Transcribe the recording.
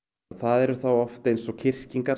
það eru þá oft eins og